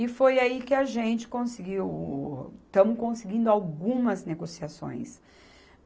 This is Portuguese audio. E foi aí que a gente conseguiu o, estamos conseguindo algumas negociações.